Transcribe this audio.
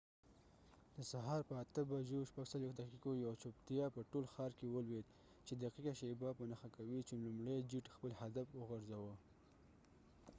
د سهار په ۸:۴۶ بجو یوه چوپتیا په ټول ښار کې ولوید، چې دقیقه شیبه په نښه کوي چې لومړۍ جیټ خپل هدف وغورځوه